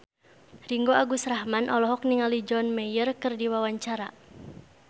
Ringgo Agus Rahman olohok ningali John Mayer keur diwawancara